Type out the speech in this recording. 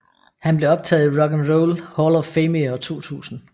Han blev optaget i Rock and Roll Hall of Fame i 2000